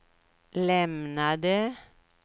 lämnade